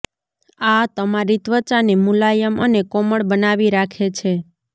આ તમારી ત્વચાને મુલાયમ અને કોમળ બનાવી રાખે છે